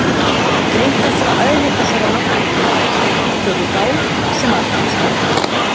Greint er frá eðli þessara náttúrufyrirbæra og þeirri vá sem af þeim stafar.